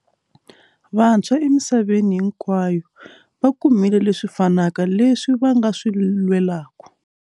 Vantshwa emisaveni hinkwayo vakumile leswi fanaka leswi va nga swi lwelaku.